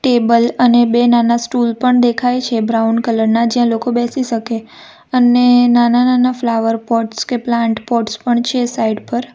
Table અને બે નાના સ્ટૂલ પણ દેખાય છે બ્રાઉન કલર ના જ્યાં લોકો બેસી શકે અને નાના-નાના ફ્લાવર પોટ્સ કે પ્લાન્ટ પોટ્સ પણ છે સાઇડ પર.